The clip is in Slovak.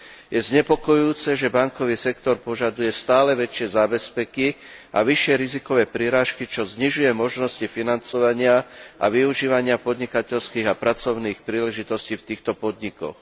Je znepokojujúce, že bankový sektor požaduje stále väčšie zábezpeky a vyššie rizikové prirážky, čo znižuje možnosti financovania a využívania podnikateľských a pracovných príležitostí v týchto podnikoch.